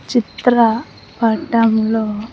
చిత్ర పటంలో.